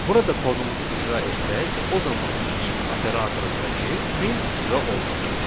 Burada kodumuzu icra etsək, o zaman if operatorundakı print icra olunacaq.